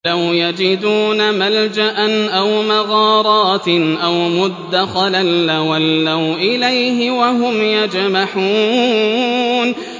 لَوْ يَجِدُونَ مَلْجَأً أَوْ مَغَارَاتٍ أَوْ مُدَّخَلًا لَّوَلَّوْا إِلَيْهِ وَهُمْ يَجْمَحُونَ